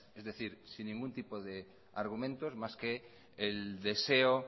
es decir sin ningún tipo de argumento más que el deseo